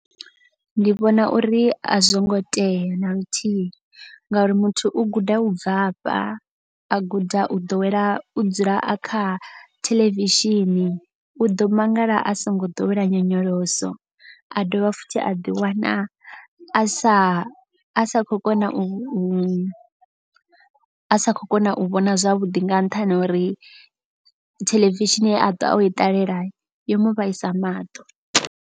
Ndi vhona uri a zwo ngo tea na luthihi ngauri muthu u guda u bvafha. A guda u ḓowela u dzula a kha theḽevishini u ḓo mangala a songo ḓowela nyonyoloso. A dovha futhi a ḓiwana a sa a sa khou kona u a sa khou kona u vhona zwavhuḓi nga nṱhani ha uri. Theḽevishini ye atwa o i ṱalela yo mu vhaisa maṱo.